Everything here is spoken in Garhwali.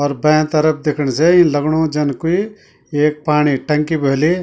और बैं तरफ दिखण से इन लगणू जन कुई ऐक पाणी टंकी भली।